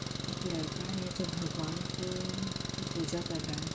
एक लड़का है जो भगवान को की पूजा कर रहा है।